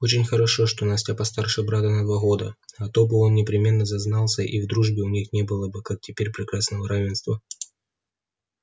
очень хорошо что настя постарше брата на два года а то бы он непременно зазнался и в дружбе у них не было бы как теперь прекрасного равенства